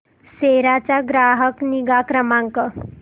सेरा चा ग्राहक निगा क्रमांक